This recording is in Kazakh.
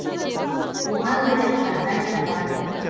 оған лайық жағдай да бар